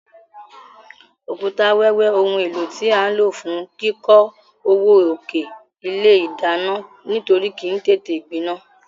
Òkúta wẹ́wẹ́ oun éló tí a n ló fún kíkó ọwọ́ òkè ilé ìdánán nítorí kìí tété gbinán